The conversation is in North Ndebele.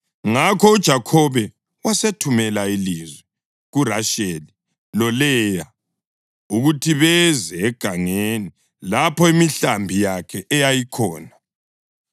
Ngakho uJakhobe wasethumela ilizwi kuRasheli loLeya ukuthi beze egangeni lapho imihlambi yakhe eyayikhona.